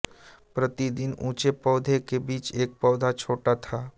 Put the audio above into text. प्रति तीन ऊँचे पौधों के पीछे एक पौधा छोटा था